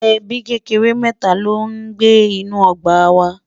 ẹbí kékeré mẹta ló ní gbé nínú ogbà wà